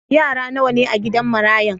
Yara nawa ne a'gidan marayan?